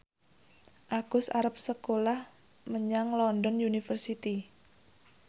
Agus arep sekolah menyang London University